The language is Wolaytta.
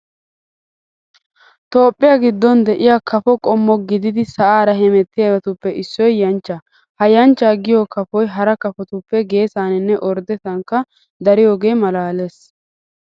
Toophphiya giddon de'iya Kafo qommo gididi sa'aara hemettiyabatuppe issoy yanchchaa. Ha yanchchaa giyo kafoy hara kafotuppe geesaaninne orddetettankka dariyogee maalaalees.